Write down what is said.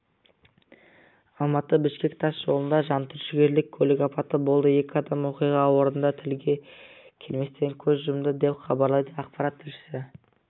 алматы-бішкек тас жолында жантүршігерлік көлік апаты болды екі адам оқиға орнында тілге келместен көз жұмды деп хабарлайды ақпарат тілшісі